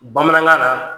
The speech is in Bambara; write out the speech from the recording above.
Bamanankan na